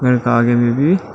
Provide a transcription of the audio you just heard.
घर का आगे में भी--